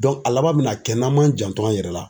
a laban min na kɛ n'an m'an janto an yɛrɛ la.